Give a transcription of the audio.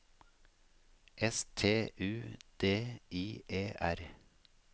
S T U D I E R